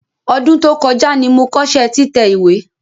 Ọdún tó kọjá ni mo kọ́ṣẹ́ títẹ̀ ìwé.